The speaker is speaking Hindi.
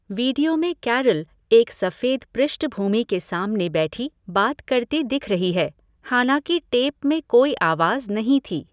वीडियो में कैरल एक सफेद पृष्ठभूमि के सामने बैठी, बात करती दिख रही है, हालांकि टेप में कोई आवाज नहीं थी।